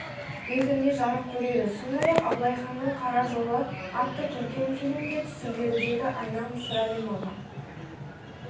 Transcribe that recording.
ретінде жарық көреді сондай-ақ абылай ханның қара жолы атты көркем фильмде түсіріледі деді айна мысырәлімова